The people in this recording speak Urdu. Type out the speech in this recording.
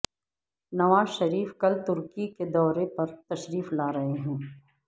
نواز شریف کل ترکی کے دورے پر تشریف لا رہے ہیں